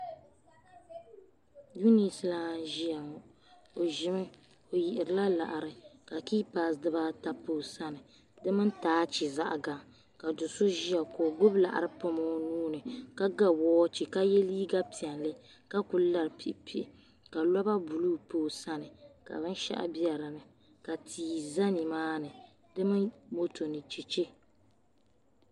Uniti lana n ʒia ŋɔ o ʒimi o yihirila laɣari ka kiipasi dibaata pa o sani di mini taachi zaɣa gaŋa ka do'so ʒia ka o gbibi laɣari pam o nuuni ka ga woochi ka ye liiga piɛlli ka kuli lari kpikpi ka loba buluu pa o sani ka binshaɣu be dinni ka tia za nimaani di mini moto ni cheche.